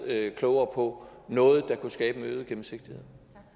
lidt klogere på noget der kunne skabe en øget gennemsigtighed